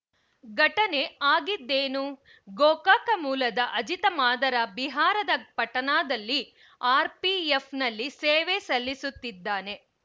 ಘಟನೆ ಆಗಿದ್ದೇನು ಗೋಕಾಕ ಮೂಲದ ಅಜಿತ ಮಾದರ ಬಿಹಾರದ ಪಟನಾದಲ್ಲಿ ಆರ್‌ಪಿಎಫ್‌ನಲ್ಲಿ ಸೇವೆ ಸಲ್ಲಿಸುತ್ತಿದ್ದಾನೆ